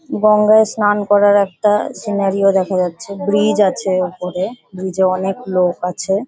গঙ্গায় স্নান করার একটা সিনারিও দেখা যাচ্ছে। ব্রিজ আছে ওপরে ব্রিজে অনেক লোক আছে।